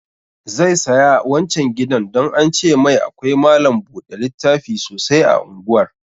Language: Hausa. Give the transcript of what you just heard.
Zai saya wancan gidan don an ce mai akwai malam buɗe littafi sosai a unguwar